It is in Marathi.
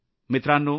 मित्रांनो